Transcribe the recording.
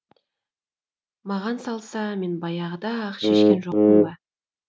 маған салса мен баяғыда ақ шешкен жоқпын ба